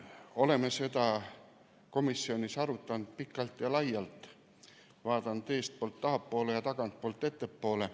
Oleme seda komisjonis arutanud pikalt ja laialt, vaadanud eestpoolt tahapoole ja tagantpoolt ettepoole.